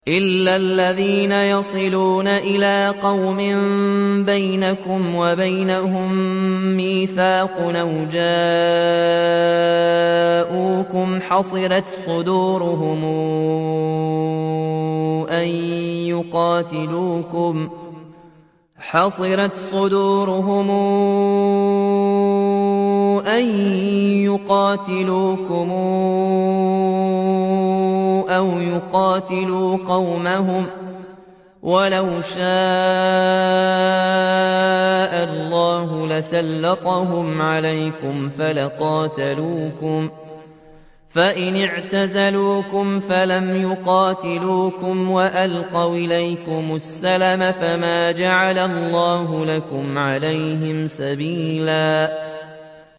إِلَّا الَّذِينَ يَصِلُونَ إِلَىٰ قَوْمٍ بَيْنَكُمْ وَبَيْنَهُم مِّيثَاقٌ أَوْ جَاءُوكُمْ حَصِرَتْ صُدُورُهُمْ أَن يُقَاتِلُوكُمْ أَوْ يُقَاتِلُوا قَوْمَهُمْ ۚ وَلَوْ شَاءَ اللَّهُ لَسَلَّطَهُمْ عَلَيْكُمْ فَلَقَاتَلُوكُمْ ۚ فَإِنِ اعْتَزَلُوكُمْ فَلَمْ يُقَاتِلُوكُمْ وَأَلْقَوْا إِلَيْكُمُ السَّلَمَ فَمَا جَعَلَ اللَّهُ لَكُمْ عَلَيْهِمْ سَبِيلًا